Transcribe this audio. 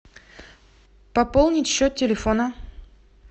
пополнить счет телефона